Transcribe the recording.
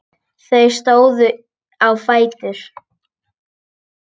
Þau stóðu á fætur.